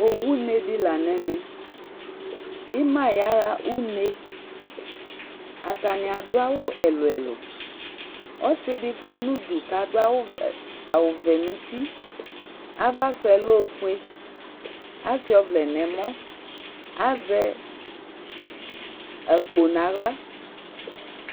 Owune di la nu ɛmɛ Ima yaɣa une Atani adu awu ɛlu ɛlu Ɔsi di fua nu udu ku adu awu vɛ nu uti ava su yɛ lɛ ɔfue asuia ɔvlɛ nu ɛmɔ Azɛ akpo nu aɣla